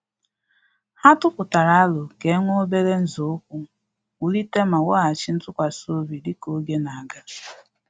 Ha tụ aputara aro ka e were obere nzọụkwụ wulite ma weghachi ntụkwasị obi dika oge na aga